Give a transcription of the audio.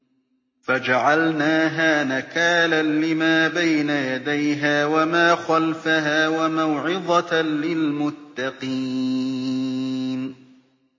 فَجَعَلْنَاهَا نَكَالًا لِّمَا بَيْنَ يَدَيْهَا وَمَا خَلْفَهَا وَمَوْعِظَةً لِّلْمُتَّقِينَ